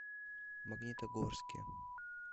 магнитогорске